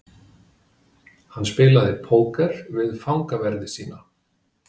Hann spilaði póker við fangaverði sína.